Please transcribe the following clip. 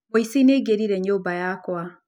Mũici nĩaingĩrire nyũmba yakwa